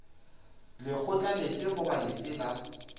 lekgotla lefe goba lefe la